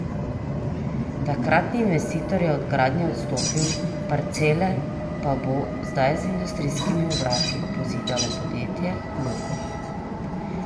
Takratni investitor je od gradnje odstopil, parcele pa bo zdaj z industrijskimi obrati pozidalo podjetje Logo.